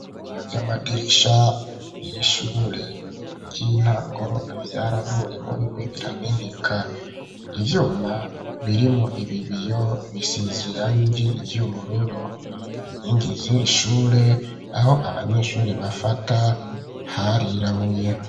Ibiyo vyamadirisha yishure ry'intango vyaravuyemo bimwe birameneka, ivyuma birimwo ibi biyo bisize irangi ry'ubururu inkingi ziri shure aho abanyeshuri bafata harirabuye.